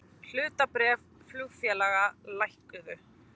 Hlutabréf flugfélaga lækkuðu